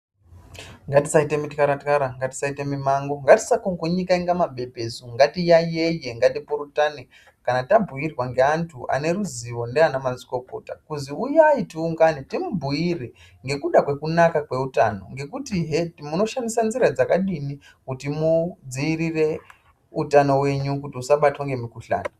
Ngatisaita muthwarathwara, ngatisaita mimango, ngatisa kugunyika kuita mabepesu, ngatiyayeye ngatipurutane kana tabhuirwa ngeantu ane ruzivo ndiana mazvikokota kuzwi uyai tiungane timubhuire ngekuda kwekunaka kweutano ngekutizve munoshandisa nzira dzakadini kuti mudziirire utano hwenyu kuti usabatwa ngemukhuhlani.